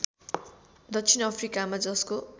दक्षिण अफ्रिकामा जसको